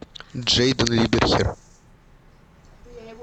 джейден либерхер